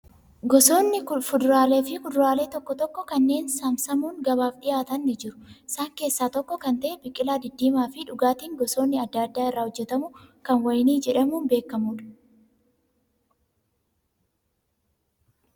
Gosooni fuduraalee fi kuduraalee tokko tokko kanneen saamsamuum gabaaf dhiyaatan ni jiru. Isaan keessaa tokko kan ta'e biqilaa diddiimaa fi dhugaatiin gosoonni adda addaa irra hojjatamu kan wayinii jedhamuun beekamudha.